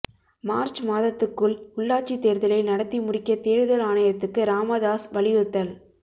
March மாதத்துக்குள் உள்ளாட்சி தேர்தலை நடத்தி முடிக்க தேர்தல் ஆணையத்துக்கு ராமதாஸ் வலியுறுத்தல்